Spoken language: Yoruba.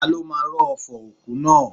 Ta ló máa rọ́ ọfọ̀ òkú náà.?